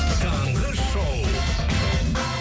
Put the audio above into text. таңғы шоу